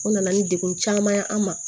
O nana ni degun caman ye an ma